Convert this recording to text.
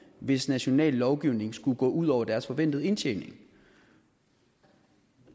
hvis national lovgivning skulle gå ud over deres forventede indtjening